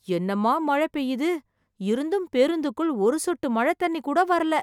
என்னமா மழை பெய்யுது, இருந்தும் பேருந்துக்குள் ஒரு சொட்டு மழைத் தண்ணி கூட வரல